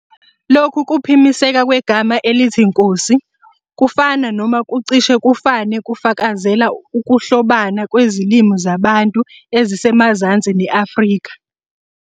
Lokhu kuphimiseka kwegama elithi nkosi ngokufana noma ngokucishe kufane kufakazela ukuhlobana kwezilimi zaBantu ezisemazansi ne-Afrika.